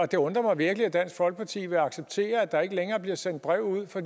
det undrer mig virkelig at dansk folkeparti vil acceptere at der ikke længere bliver sendt brev ud for